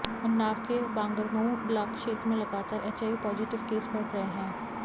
उन्नाव के बांगरमऊ ब्लाक क्षेत्र में लगातार एचआइवी पॉजिटिव केस बढ़ रहे हैं